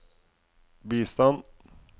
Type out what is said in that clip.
bistand